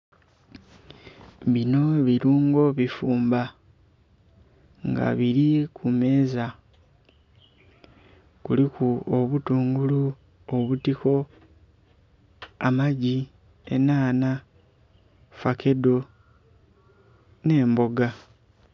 Bino bilungo ebifumba nga biri kumeeza kuliku obutungulu, obutiko, amagi, enhanha, fakedo n'emboga.